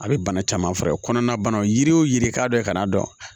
A bɛ bana caman faga kɔnɔna banaw yiri o yiri k'a dɔ i ka n'a dɔn